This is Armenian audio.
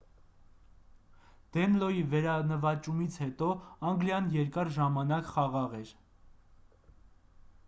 դենլոյի վերանվաճումից հետո անգլիան երկար ժամանակ խաղաղ էր